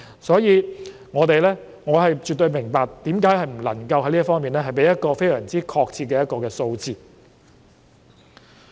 所以，我絕對明白為何不能夠在這方面給予非常確切的數字。